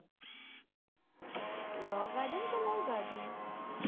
Law garden કે Love garden?